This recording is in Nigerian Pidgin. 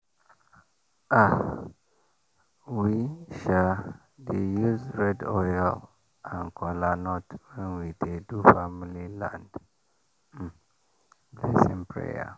um we um dey use red oil and kola nut when we dey do family land um blessing prayer.